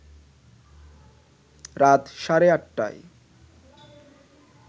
রাত সাড়ে ৮টায়